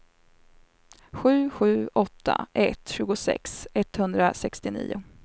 sju sju åtta ett tjugosex etthundrasextionio